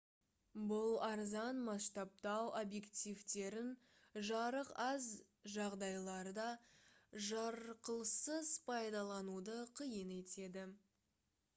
бұл арзан масштабтау объективтерін жарық аз жағдайларда жарқылсыз пайдалануды қиын етеді